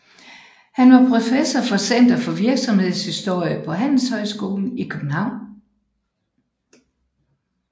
Han var professor ved Center for Virksomhedshistorie på Handelshøjskolen i København